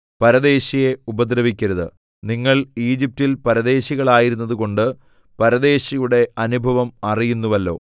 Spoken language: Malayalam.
പരദേശിയെ ഉപദ്രവിക്കരുത് നിങ്ങൾ ഈജിപ്റ്റിൽ പരദേശികളായിരുന്നതുകൊണ്ട് പരദേശിയുടെ അനുഭവം അറിയുന്നുവല്ലോ